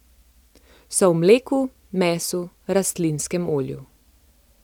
So v mleku, mesu, rastlinskem olju.